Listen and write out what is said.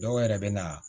Dɔw yɛrɛ bɛ na